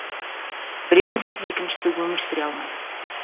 біреуінсіз екіншісі өмір сүре алмайды